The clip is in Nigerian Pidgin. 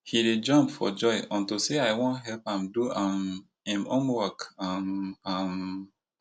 he dey jump for joy unto say i wan help am do um im homework um um